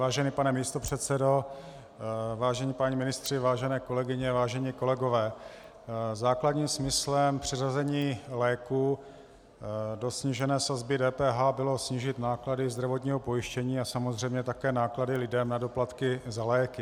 Vážený pane místopředsedo, vážení páni ministři, vážené kolegyně, vážení kolegové, základním smyslem přeřazení léků do snížené sazby DPH bylo snížit náklady zdravotního pojištění a samozřejmě také náklady lidem na doplatky na léky.